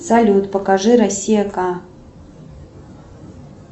салют покажи россия ка